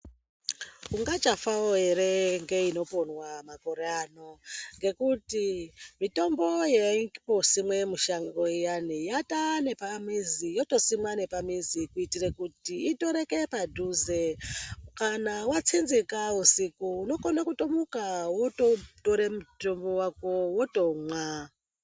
Ungachafawo ere ndeinoponwa makore ano ngekuti mitombo yaimnosimwa mushango yatava nepamizi yotosimwa nepamizi kuitira kuti itoreke padhuze kana watsetsenga usiku unokona kutomuka wototora mitombo wako wotomwa.